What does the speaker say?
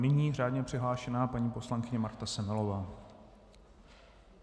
Nyní řádně přihlášená paní poslankyně Marta Semelová.